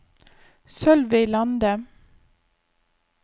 Sølvi Lande